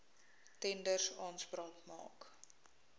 tenders aanspraak maak